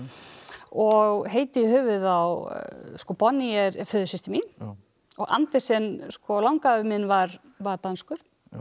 og heiti í höfuðið á Bonnie er föðursystir mín og Andersen langafi minn var var danskur